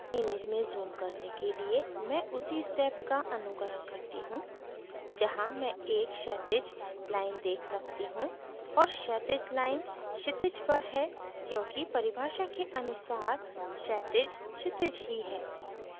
image में zoom करने के लिए मैं उसी step का अनुकरण करती हूँ जहाँ मैं एक क्षैतिज line देख सकती हूँ और क्षैतिज line क्षितिज पर है क्योंकि परिभाषा के अनुसार क्षैतिज क्षितिज ही है